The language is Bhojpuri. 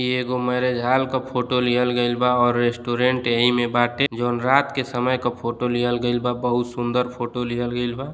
इ एगो मैरेज हॉल के फोटो लिहल गइल बा और ररेस्टॉरंट एहि में बाटे। जवन रात के समय क फोटो लिहल गइल बा। बहुत सूंदर फोटो लिहल गइल बा।